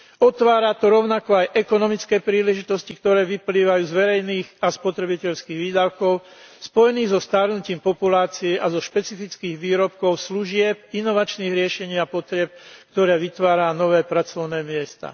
Otvára to rovnako aj ekonomické príležitosti, ktoré vyplývajú z verejných a spotrebiteľských výdavkov v spojení so starnutím populácie a zo špecifických výrobkov, služieb, inovačných riešení a potrieb, ktoré vytvárajú nové pracovné miesta.